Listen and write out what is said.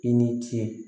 I ni ce